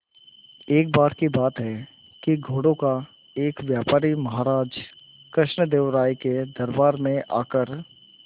एक बार की बात है कि घोड़ों का एक व्यापारी महाराज कृष्णदेव राय के दरबार में आकर